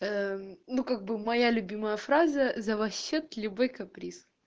ну как бы моя любимая фраза за ваш счёт любой каприз